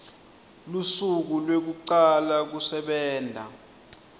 lusuku lwekucala kusebenta